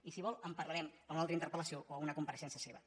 i si vol en parlarem en una altra interpel·lació o una compareixença seva